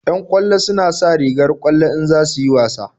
Yan ƙwallo suna sa rigar ƙwallo in za su yi wasa